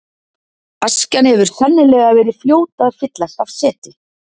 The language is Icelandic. Askjan hefur sennilega verið fljót að fyllast af seti.